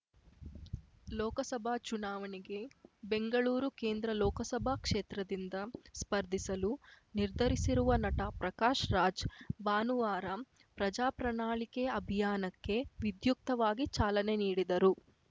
ಲೋಕಸಭಾ ಚುನಾವಣೆಗೆ ಬೆಂಗಳೂರು ಕೇಂದ್ರ ಲೋಕಸಭಾ ಕ್ಷೇತ್ರದಿಂದ ಸ್ಪರ್ಧಿಸಲು ನಿರ್ಧರಿಸಿರುವ ನಟ ಪ್ರಕಾಶ್‌ ರಾಜ್‌ ಭಾನುವಾರ ಪ್ರಜಾ ಪ್ರಣಾಳಿಕೆ ಅಭಿಯಾನಕ್ಕೆ ವಿದ್ಯುಕ್ತವಾಗಿ ಚಾಲನೆ ನೀಡಿದರು